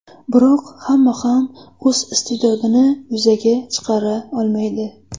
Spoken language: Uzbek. Biroq hamma ham o‘z iste’dodini yuzaga chiqara olmaydi.